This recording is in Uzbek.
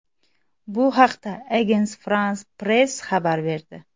Bu haqda Agence France Presse xabar berdi .